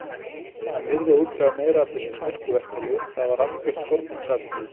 Hann yrði að útvega meira af þessum sterku verkjalyfjum, það var algert forgangsatriði.